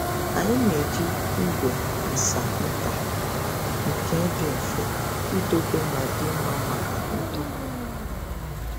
Anyị na-eji igwe nsa nta nke dị mfe idobe ma dị mma maka ntụpọ nta.